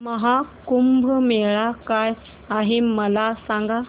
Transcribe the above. महा कुंभ मेळा काय आहे मला सांग